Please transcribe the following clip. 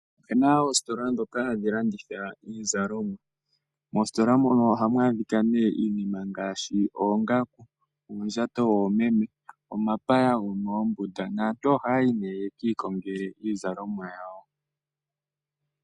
Opena oositola dhoka hadhi landitha iizalomwa, moositola moka ohamu adhikwa iinima ngaashi oongaku, uundjato woomeme, omapaya gomoombunda naantu oha yayi ko yekiikongele iizalomwa yawo.